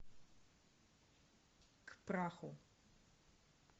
к праху